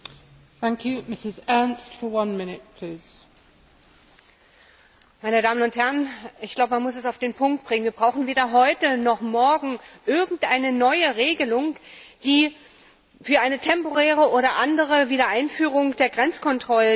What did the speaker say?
Frau Präsidentin, meine Damen und Herren! Ich glaube, man muss es auf den Punkt bringen Wir brauchen weder heute noch morgen irgendeine neue Regelung für eine temporäre oder andere Wiedereinführung der Grenzkontrollen.